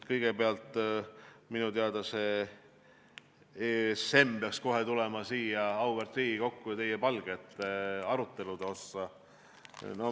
Kõigepealt, minu teada peaks ESM-i teema tulema kohe siia, auväärt Riigikokku, teie palge ette aruteluks.